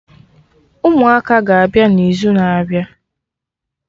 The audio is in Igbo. Ụmụaka ga-abịa na izu na-abịa